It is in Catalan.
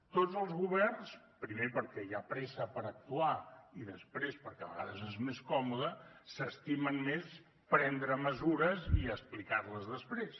tots els governs primer perquè hi ha pressa per actuar i després perquè a vegades és més còmode s’estimen més prendre mesures i explicar les després